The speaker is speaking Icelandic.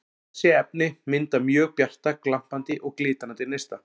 Þessi efni mynda mjög bjarta, glampandi og glitrandi neista.